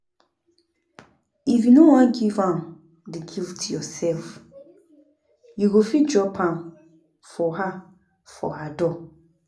If you no wan give am the gift yourself, you go fit drop am for her for her door